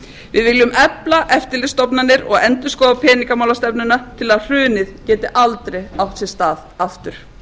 viljum efla eftirlitsstofnanir og endurskoða peningamálastefnuna til að hrunið geti aldrei átt sér stað aftur